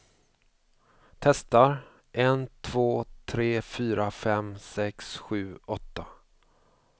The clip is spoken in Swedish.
Testar en två tre fyra fem sex sju åtta.